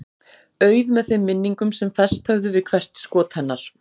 Auð með þeim minningum sem fest höfðu við hvert skot hennar.